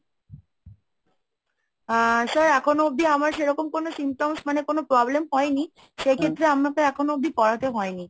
আহ sir এখনো অবধি আমার সেরকম কোন symptoms মানে কোন problem হয়নি সেক্ষেত্রে আমাকে এখনো অব্দি করাতে হয়নি।